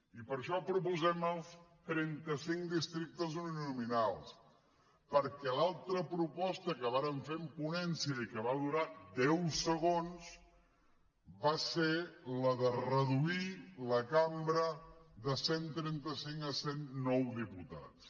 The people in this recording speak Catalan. i per això proposem els trenta cinc districtes uninominals perquè l’altra proposta que vàrem fer en ponència i que va durar deu segons va ser la de reduir la cambra de cent i trenta cinc a cent i nou diputats